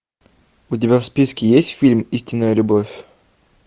у тебя в списке есть фильм истинная любовь